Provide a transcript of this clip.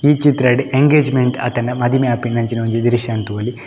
ಈ ಚಿತ್ರಡ್ ಎಂಗೇಜ್ಮೆಂಟ್ ಆತಂಡ ಮದಿಮೆ ಆಪಿನಂಚಿನ ಒಂಜಿ ದ್ರಶ್ಯನ್ ತೂವೊಲಿ.